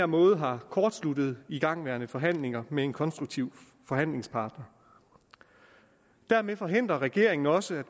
måde har kortsluttet igangværende forhandlinger med en konstruktiv forhandlingspartner dermed forhindrer regeringen også at